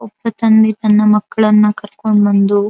ಒಬ್ಬ ತಂದೆ ತನ್ನ ಮಕ್ಕಳನ್ನಾ ಕರಕೊಂಡ್ ಬಂದು --